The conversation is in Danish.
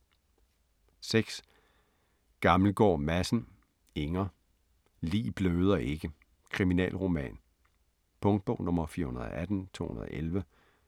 6. Gammelgaard Madsen, Inger: Lig bløder ikke: kriminalroman Punktbog 418211